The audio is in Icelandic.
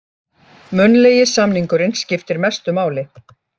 Munnlegi samningurinn skiptir mestu máli